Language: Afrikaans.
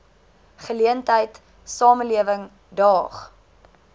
geleentheid samelewing daag